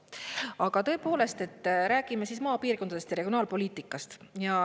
Aga tõepoolest, räägime maapiirkondadest ja regionaalpoliitikast.